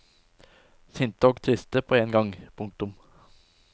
Sinte og triste på en gang. punktum